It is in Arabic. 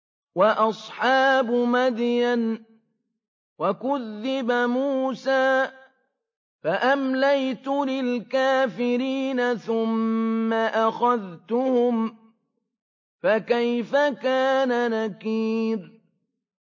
وَأَصْحَابُ مَدْيَنَ ۖ وَكُذِّبَ مُوسَىٰ فَأَمْلَيْتُ لِلْكَافِرِينَ ثُمَّ أَخَذْتُهُمْ ۖ فَكَيْفَ كَانَ نَكِيرِ